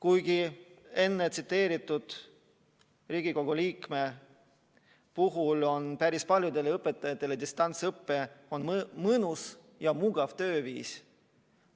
Ühe Riigikogu liikme sõnul on päris paljudele õpetajatele distantsõpe mõnus ja mugav tööviis.